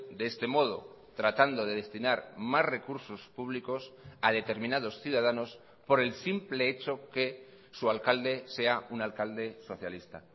de este modo tratando de destinar más recursos públicos a determinados ciudadanos por el simple hecho que su alcalde sea un alcalde socialista